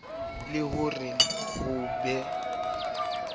le ho re ho be